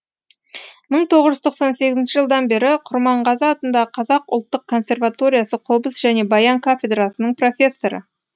мың тоғыз жүз тоқсан сегізінші жылдан бері құрманғазы атындағы қазақ ұлттық консерваториясы қобыз және баян кафедрасының профессоры